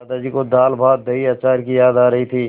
दादाजी को दालभातदहीअचार की याद आ रही थी